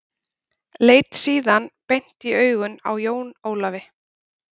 Leit síðan beint í augun á Jón Ólafi.